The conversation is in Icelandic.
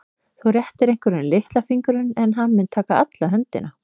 Þú réttir einhverjum litla fingurinn en hann mun taka alla höndina.